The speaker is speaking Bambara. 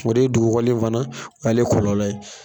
O de ye dugukɔli nin fana ale kɔlɔlɔ ye.